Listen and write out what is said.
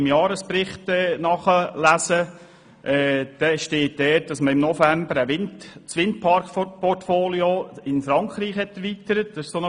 Im Jahresbericht steht, dass man das Windpark-Portfolio in Frankreich erweitert habe.